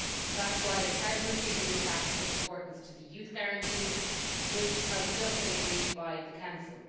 That is why, as the Presidency, we have attached such importance to the Youth Guarantee which has just been agreed by the Council.